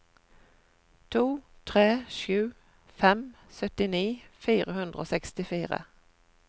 to tre sju fem syttini fire hundre og sekstifire